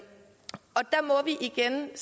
igen